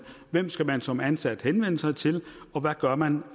hvem skal man som ansat henvende sig til og hvad gør man